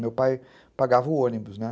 Meu pai pagava o ônibus, né?